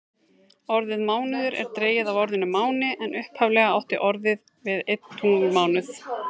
Orðið mánuður er dregið af orðinu máni en upphaflega átti orðið við einn tunglmánuð.